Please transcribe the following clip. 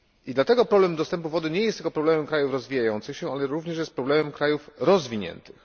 Dlatego problem dostępu do wody nie jest tylko problemem krajów rozwijających się, ale jest również problemem krajów rozwiniętych.